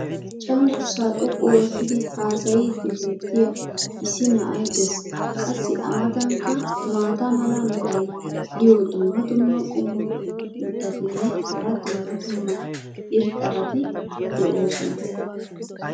cenggurssaa xoqqu oottidi haasayiidi beetiya issi na'ay des. qassi a matankka maata mala meray diyo dumma dumma qommo mitattinne hara dumma dumma irxxabati de'oosona.